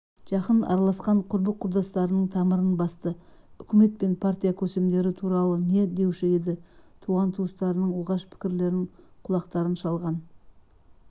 жақын араласқан құрбы-құрдастарының тамырын басты үкімет пен партия көсемдері туралы не деуші еді туыс-туғандарының оғаш пікірлерін құлақтарың шалған